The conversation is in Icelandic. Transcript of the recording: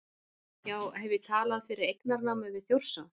Já, hef ég talað fyrir eignarnámi við Þjórsá?